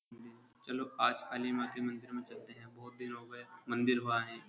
चलो आज काली माँ के मंदिर में चलते है। बोहोत दिन हो गये। मंदिर हो आये।